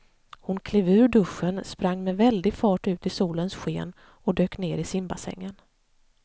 Hon klev ur duschen, sprang med väldig fart ut i solens sken och dök ner i simbassängen.